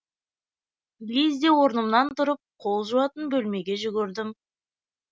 лезде орнымнан тұрып қол жуатын бөлмеге жүгірдім